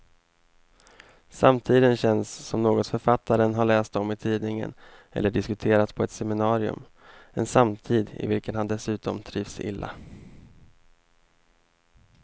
Samtiden känns som något författaren har läst om i tidningen eller diskuterat på ett seminarium, en samtid i vilken han dessutom trivs illa.